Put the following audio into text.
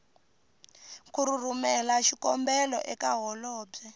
ku rhumela xikombelo eka holobye